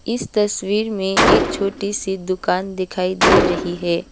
इस तस्वीर में एक छोटी सी दुकान दिखाई दे रही है।